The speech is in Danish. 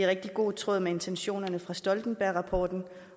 rigtig god tråd med intentionerne fra stoltenbergrapporten